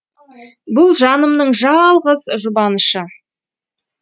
бұл жанымның жалғыз жұбанышы